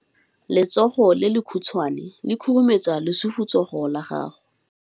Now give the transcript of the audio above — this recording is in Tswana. Letsogo le lekhutshwane le khurumetsa lesufutsogo la gago.